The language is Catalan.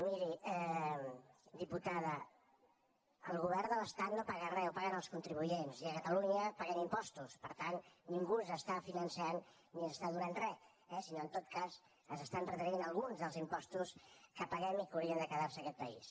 miri diputada el govern de l’estat no paga res ho paguen els contribuents i a catalunya paguem impostos per tant ningú ens està finançant ni ens està donant res eh sinó en tot cas ens estan retenint alguns dels impostos que paguem i que haurien de quedar se en aquest país